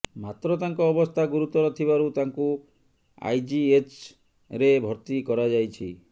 ମାତ୍ର ତାଙ୍କ ଅବସ୍ଥା ଗୁୁରୁତର ଥିବାରୁ ତାଙ୍କୁ ଆଇଜିଏଚ୍୍ରେ ଭର୍ତ୍ତି କରାଯାଇଛି